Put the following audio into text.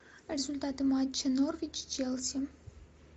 результаты матча норвич челси